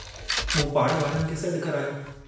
मूं पाड़े वारनि खे सडु करायो।